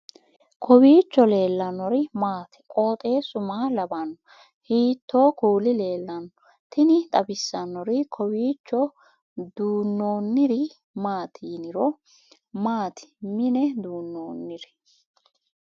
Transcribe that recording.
kowiicho leellannori maati ? qooxeessu maa lawaanno ? hiitoo kuuli leellanno ? tini xawissannori kawiicho duunnoonniri maati yiniro maati mine duunnoonniri